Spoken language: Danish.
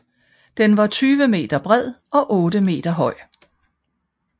Den var 20 meter bred og 8 meter høj